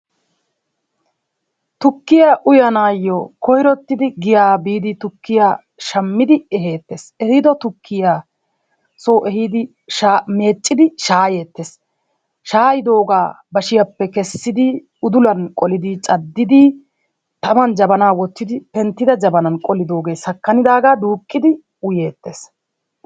Tukkiya uyanaayo koyrottidi giyaa biidi tukkiya shammid ehettees. Ehiido tukkiya so ehiidi sha meeccidi shaayeetees. Shaayidoogaa bashshiyappe kessidi udulan qolidi caddidi tamman jabana wottidi penttida jabanan qolidoogaa sakanidaagaa duuqqidi uyeetees.